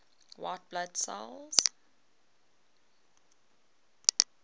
white blood cells